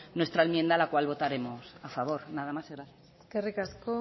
nuestra enmienda la cual votaremos a favor nada más gracias eskerrik asko